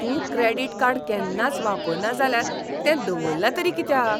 तूं credit card केन्नाच वापरना जाल्यार तें दवरलां तरी कित्याक?